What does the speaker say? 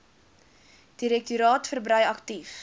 direktoraat verbrei aktief